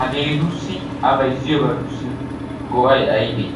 hageetussi a bayziyoogetussi go'ay aybee?